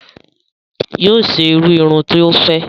Yoo ṣe irú irun tí o fẹ